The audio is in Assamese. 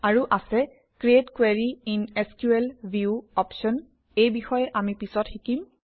আৰু আছে create query in SQL view option এই বিষয়ে আমি পিছত শিকিম